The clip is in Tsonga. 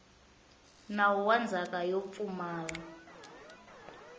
nawu wa ndzhaka yo pfumala